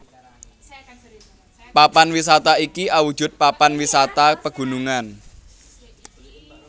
Papan wisata iki awujud papan wisata pegunungan